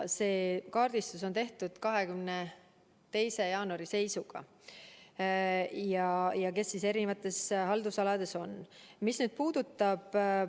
See kaardistus on tehtud 22. jaanuari seisuga nende kohta, kes erinevates haldusalades on.